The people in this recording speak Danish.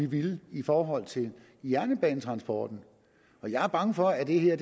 ville i forhold til jernbanetransporten jeg er bange for at det her